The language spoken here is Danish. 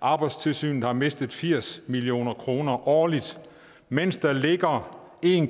arbejdstilsynet har mistet firs million kroner årligt mens der ligger en